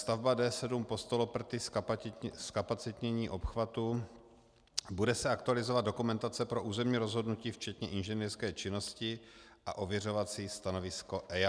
Stavba D7 Postoloprty, zkapacitnění obchvatu - bude se aktualizovat dokumentace pro územní rozhodnutí včetně inženýrské činnosti a ověřovací stanovisko EIA.